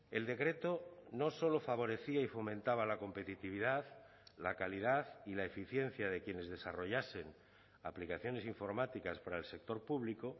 el decreto no solo favorecía y fomentaba la competitividad la calidad y la eficiencia de quienes desarrollasen aplicaciones informáticas para el sector público